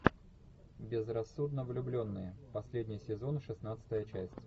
безрассудно влюбленные последний сезон шестнадцатая часть